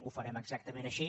ho farem exactament així